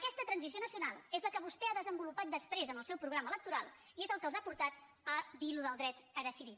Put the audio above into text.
aquesta transició nacional és la que vostè ha desenvolupat després en el seu programa electoral i és la que els ha portat a dir això del dret a decidir